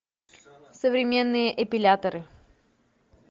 современные эпиляторы